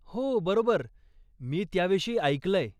हो, बरोबर, मी त्याविषयी ऐकलंय.